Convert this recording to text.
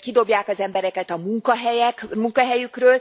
kidobják az embereket a munkahelyükről.